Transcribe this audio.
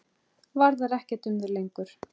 Varðar ekkert um þau lengur.